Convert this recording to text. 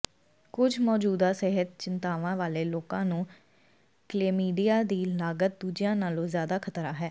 ਕੁਝ ਮੌਜੂਦਾ ਸਿਹਤ ਚਿੰਤਾਵਾਂ ਵਾਲੇ ਲੋਕਾਂ ਨੂੰ ਕਲੇਮੀਡੀਆ ਦੀ ਲਾਗਤ ਦੂਜਿਆਂ ਨਾਲੋਂ ਜ਼ਿਆਦਾ ਖ਼ਤਰਾ ਹੈ